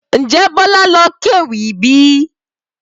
Ǹjẹ́ Bola ló kéwì bíi?